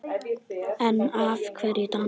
En af hverju dans?